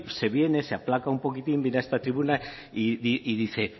se viene se aplaca un poquitín llega a esta tribuna y dice